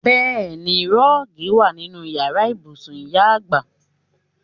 Bẹẹni, rọ́ọ̀gì wa nínú Ìyàrá ibùsùn ìyá àgbà.